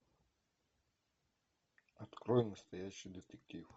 открой настоящий детектив